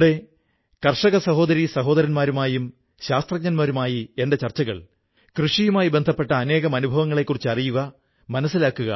അവിടെ കർഷക സഹോദരീ സഹോദരന്മാരുമായും ശാസ്ത്രജ്ഞരുമായി എന്റെ ചർച്ചകൾ കൃഷിയുമായി ബന്ധപ്പെട്ട അനേകം അനുഭവങ്ങളെക്കുറിച്ച് അറിയുക മനസ്സിലാക്കുക